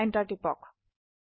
enter টিপক